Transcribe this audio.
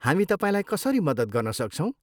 हामी तपाईँलाई कसरी मद्दत गर्न सक्छौँ?